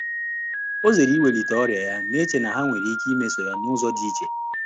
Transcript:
Ọ́ zèèrè ìwélíté ọ́rị́à yá, nà-échè nà há nwèrè íké mésọ́ọ́ yá n’ụ́zọ́ dị́ íchè.